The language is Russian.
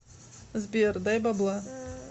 сбер дай бабла